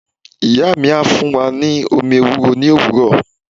Iya mi a fun wa ni omi ewúro ni owuro.